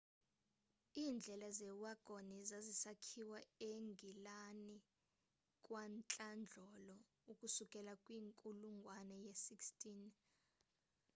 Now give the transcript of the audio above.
iindlela zewagoni zazisakhiwa engilani kwantlandlolo ukusukela kwinkulungwane ye-16